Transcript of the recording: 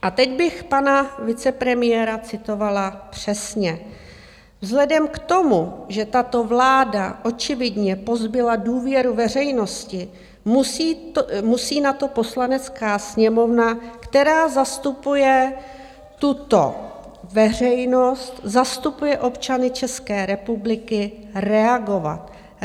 A teď bych pana vicepremiéra citovala přesně: Vzhledem k tomu, že tato vláda očividně pozbyla důvěru veřejnosti, musí na to Poslanecká sněmovna, která zastupuje tuto veřejnost, zastupuje občany České republiky, reagovat.